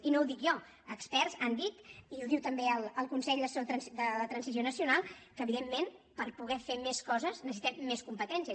i no ho dic jo experts han dit i ho diu també el consell assessor per a la transició nacional que evidentment per poder fer més coses necessitem més competències